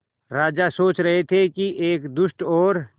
राजा सोच रहे थे कि एक दुष्ट और